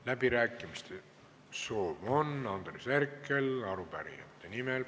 Läbirääkimiste soov on Andres Herkelil arupärijate nimel.